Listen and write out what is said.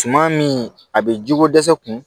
Suman min a bɛ jiko dɛsɛ kun